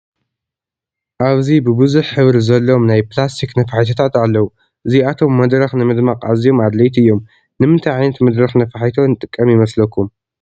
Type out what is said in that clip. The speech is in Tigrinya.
ኣብዚ ብቡዙሕ ሕብሪ ዘለዎም ናይ ፕላስቲክ ነፋሒቶታት ኣለዉ፡፡ እዚኣቶም መድረኽ ንምድማቕ ኣዝዮም ኣድለይቲ እዮም፡፡ ንምንታይ ዓይነት መድረኽ ነፋሒቶ ንጥቀም ይመስለኩም?